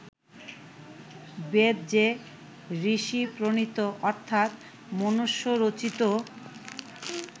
বেদ যে ঋষি-প্রণীত অর্থাৎ মনুষ্য-রচিত